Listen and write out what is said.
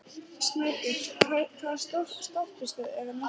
Snæbjört, hvaða stoppistöð er næst mér?